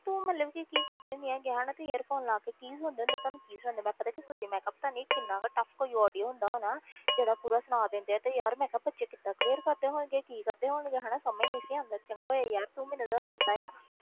ਤੂੰ ਮਤਲਬ ਕਿ ਕੀ ਕਰਦੀ ਹੁੰਦੀ ਹੈਗੀ ਹੈਂ ਹਨਾ ਤੂੰ earphone ਲਾ ਕੇ ਕੀ ਸੁਣਦੇ ਹੁੰਦੇ ਤੁਹਾਨੂੰ ਕੀ ਸੁਣਦਾ, ਮੈਂ ਪਤਾ ਕੀ ਸੋਚਦੀ ਹਾਂ ਮੈਂ ਕਿਹਾ ਪਤਾ ਨੀ ਕਿੰਨਾ ਕੁ tough ਕੋਈ audio ਹੁੰਦਾ ਹੋਣਾ ਜਿਹੜਾ ਪੂਰਾ ਸੁਣਾ ਦਿੰਦੇ ਆ ਤੇ ਯਾਰ ਮੈਂ ਕਿਹਾ ਬੱਚੇ ਕਿੱਦਾਂ clear ਕਰਦੇ ਹੋਣਗੇ, ਕੀ ਕਰਦੇ ਹੋਣਗੇ ਹਨਾ ਸਮਝ ਨੀ ਸੀ ਆਉਂਦਾ, ਚੰਗਾ ਹੋਇਆ ਯਾਰ ਤੂੰ ਮੈਨੂੰ ਦੱਸ ਦਿੱਤਾ ਆ।